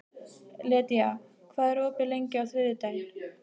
Lydia, hvað er opið lengi á þriðjudaginn?